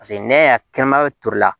Paseke n'i y'a kɛnɛma toli la